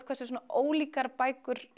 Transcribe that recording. hvernig svona ólíkar bækur